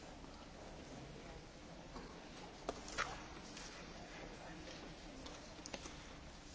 Elnök úr, biztos úr, tisztelt képviselők!